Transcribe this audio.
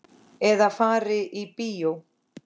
Eða fari í bíó.